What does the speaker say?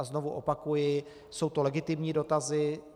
A znovu opakuji, jsou to legitimní dotazy.